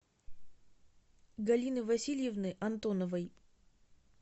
галины васильевны антоновой